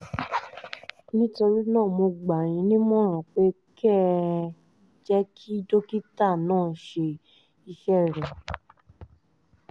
nítorí náà mo gbà yín nímọ̀ràn pé kẹ́ ẹ jẹ́ kí dókítà náà ṣe iṣẹ́ rẹ̀